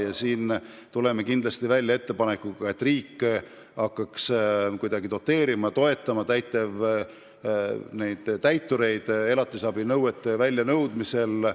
Kindlasti tuleme välja ettepanekuga, et riik hakkaks kuidagi doteerima täitureid elatisrahanõuete väljanõudmisel.